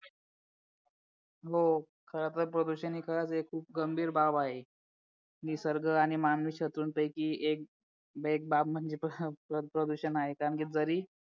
हो खरंतर प्रदूषण हे खूप गंभीर बाब आहे निसर्ग आणि मानवी शत्रूंपैकी एक बाब म्हणजे प्रदूषण आहे कारण की जरी